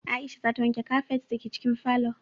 Aisha za ta wanke kafet da ke cikin falo